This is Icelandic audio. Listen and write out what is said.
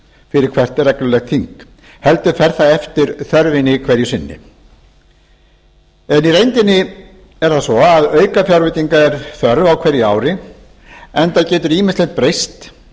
fyrir hvert reglulegt þing heldur fer það eftir þörfinni hverju sinni í reyndinni er það svo að aukafjárveitinga er þörf á hverju ári enda getur ýmislegt breyst